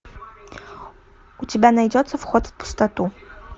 у тебя найдется вход в пустоту